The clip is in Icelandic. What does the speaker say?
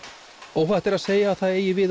óhætt er að segja að það eigi við